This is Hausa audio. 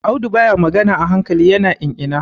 Audu baya magana a hankali, ya na in-ina.